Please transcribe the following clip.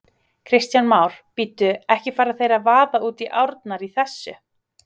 Kristján Már: Bíddu, ekki fara þeir að vaða út í árnar í þessu?